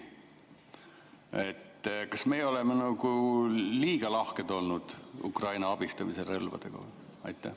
Mis te arvate, kas me Eestis oleme liiga lahked olnud Ukraina abistamisel relvadega?